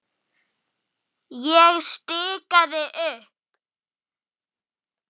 Ég stikaði upp